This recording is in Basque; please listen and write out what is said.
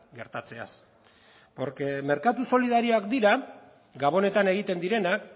gertatzeaz porque merkatu solidarioak dira gabonetan egiten direnak